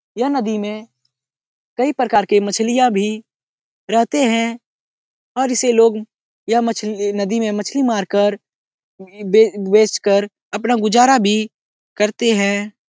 यह नदी में कई प्रकार के मछलियां भी रहते हैं और इसे लोग यह मछली ये नदी मे मछली मार कर बेच-बेचकर अपना गुजारा भी करते है।